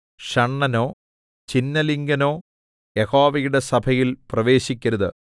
ഷണ്ഡനോ ഛിന്നലിംഗനോ യഹോവയുടെ സഭയിൽ പ്രവേശിക്കരുത്